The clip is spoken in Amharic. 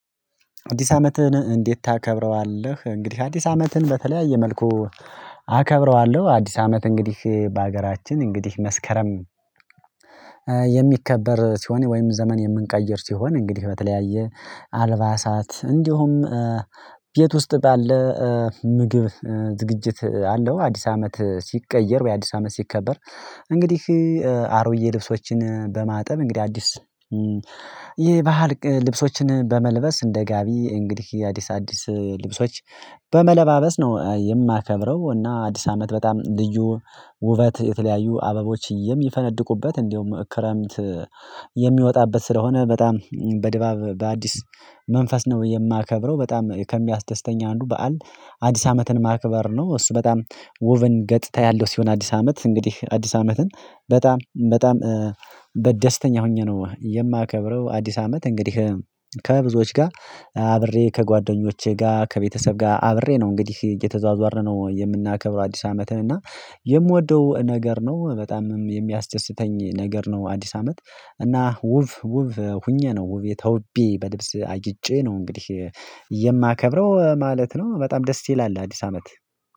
አዲስ አመትህን እንዴት ታከብረዋለህ? እንግዲህ አዲስ አመትህን በተለያየ መልኩ አከብረዋለሁ። አዲስ አመት እንግዲህ በሀገራችን እንግዲህ መስከረም የሚከበር ሲሆን ወይም ዘመን የምንቀይር ሲሆን እንግዲህ በተለያየ አልባሳት እንዲሁም ቤት ውስጥ ባለ ምግብ ዝግጅት አለው። አዲስ አመት ሲቀየር ወይ አዲስ አመት ሲከበር እንግዲህ አሮዬ ልብሶችን በማጠብ እንግዲህ አዲስ ይሄ ባህል ልብሶችን በመልበስ እንደ ጋቢ እንግዲህ አዲስ አዲስ ልብሶች በመለባበስ ነው የማከብረው። እና አዲስ አመት በጣም ልዩ ውበት የተለያዩ አበቦች ይፈነድቁበት እንደውም ክረምት የሚወጣበት ስለሆነ በጣም በድባብ በአዲስ መንፈስ ነው የማከብረው። በጣም ከሚያስተስተኝ አንዱ በዓል አዲስ አመትን ማክበር ነው። እሱ በጣም ውብን ገጥታ ያለው ሲሆን አዲስ አመት እንግዲህ አዲስ አመትን በጣም በጣም በደስተኛ ሆኜ ነው የማከብረው። አዲስ አመት እንግዲህ ከብዙዎች ጋር አብሬ ከጓደኞቼ ጋር ከቤተሰብ ጋር አብሬ ነው እንግዲህ እየተዟዟረ ነው የምናከብረው። አዲስ አመትን እና የምወደው ነገር ነው በጣምም የሚያስደስተኝ ነገር ነው። አዲስ አመት እና ውብ ውብ ሁኜ ነው ተውቤ በልብስ አጅጬ ነው እንግዲህ የማከብረው ማለት ነው። በጣም ደስ ይላል አዲስ አመት።